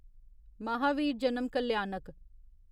महावीर जन्म कल्याणक